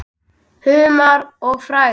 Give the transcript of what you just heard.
Humar og frægð?